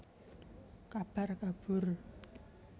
Kabar kabur